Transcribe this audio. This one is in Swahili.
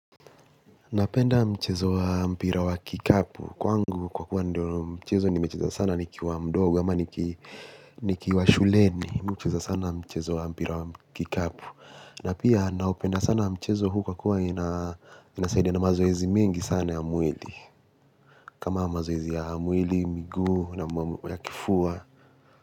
Napenda mchezo wa mpira wa kikapu kwangu kwa kuwa ndio mchezo nimecheza sana nikiwa mdogo nikiwa shuleni Mi ucheza sana mchezo wa mpira wa kikapu. Na pia naupenda sana mchezo huu kwa kuwa inasaidia na mazoezi mingi sana ya mwili. Kama mazoezi ya mwili, miguu ya kifua.